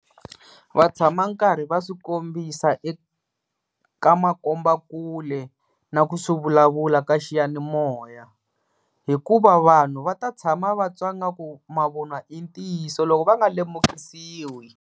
Vatshama nkarhi va swikombisa eka makombakule na ku swi vulavula ka xiyanimoya, hikuva vanhu va ta tshama vatwa nga ku mavunwa i ntiyiso loko va nga lemukisiwi.